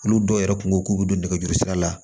Olu dɔw yɛrɛ kun ko k'u bɛ don nɛgɛjuru sira la